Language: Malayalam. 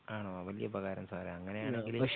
ആണോ വല്ല്യ ഉപകാരം സാറേ അങ്ങനെയാണെങ്കില്